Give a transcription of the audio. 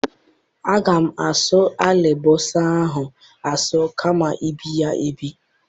Aga m asụ alịbọsa ahụ asụ kama ibe ya ebe